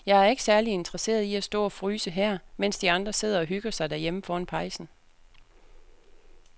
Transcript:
Jeg er ikke særlig interesseret i at stå og fryse her, mens de andre sidder og hygger sig derhjemme foran pejsen.